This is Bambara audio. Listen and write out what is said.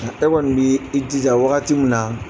E kɔni b'i jija wagati min na